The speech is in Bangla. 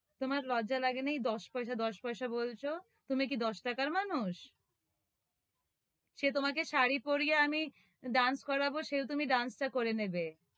তোমার লজ্জা লাগে নাই? দশ পয়সা, দশ পয়সা বলছ তুমি কি দশ টাকার মানুষ? সে তোমাকে শাড়ি পরিয়ে আমি dance করাব, সেও তুমি dance টা করে নেবে,